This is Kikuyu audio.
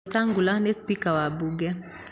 Wetangula nĩ cipika wa mbunge.